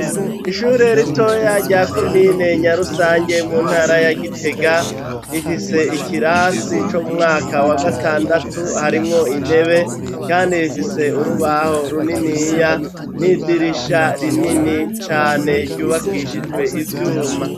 Ishure ritoya rya komine Nyarusange mu ntara ya Gitega rifise ikirasi co mwaka wa gatandatu harimwo intebe, kandi bifise urubaho runiniya n'idirisha rinini cane ryubakishijwe ivyuma.